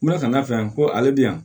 N kun bɛna ka n'a fɛ yan ko ale bɛ yan